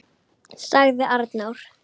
., sagði Arnór.